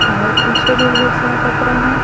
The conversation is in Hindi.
और पीछे भी ढेर सारा कपड़ा हैं।